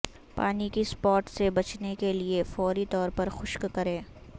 پانی کے اسپاٹ سے بچنے کے لئے فوری طور پر خشک کریں